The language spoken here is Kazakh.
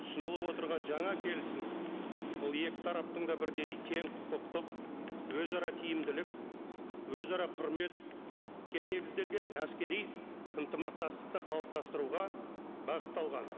ұсынылып отырған жаңа келісім ол екі тараптың да бірдей тең құқықтық өзара тиімділік өзара құрметке негізделген әскери ынтымақтастықты қалыптастыруға бағытталған